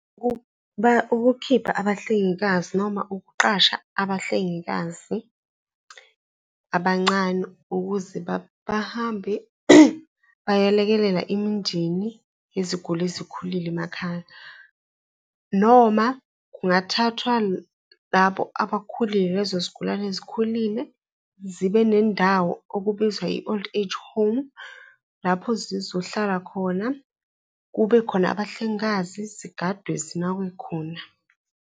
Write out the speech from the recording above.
Ukukhipha abahlengikazi noma ukuqasha abahlengikazi abancane ukuze bahambe bayolekelela imindeni yeziguli ezikhulile emakhaya. Noma kungathathwa labo abakhulile, lezozigulane ezikhulile zibe nendawo okubizwa i-old age home, lapho zizohlala khona kube khona abahlengikazi, zigadwe zinakwe khona.